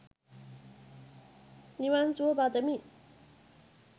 නිවන් සුව පතමි